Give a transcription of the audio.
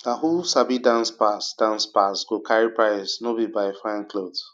na who sabi dance pass dance pass go carry prize no be by fine cloth